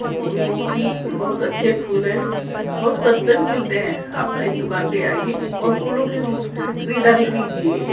फूलों की बहुत अच्छे फूल है बहुत सस्ते भी मिलते हैं आप इस दुकान पर आइए और फूलों की खरीदारी कीजिए।